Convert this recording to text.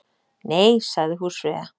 Nei, sagði húsfreyja.